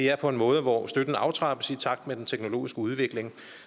er på en måde hvor støtten aftrappes i takt med den teknologiske udvikling